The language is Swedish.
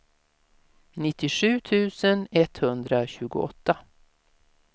nittiosju tusen etthundratjugoåtta